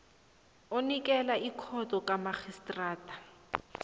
onikela ikhotho kamarhistrada